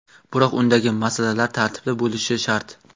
Biroq undagi masalalar tartibli bo‘lishi shart.